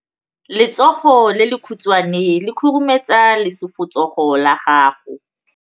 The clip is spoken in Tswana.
Letsogo le lekhutshwane le khurumetsa lesufutsogo la gago.